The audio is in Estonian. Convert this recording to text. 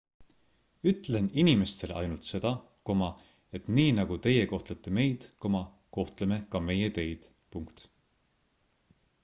ütlen inimestele ainult seda et nii nagu teie kohtlete meid kohtleme ka meie teid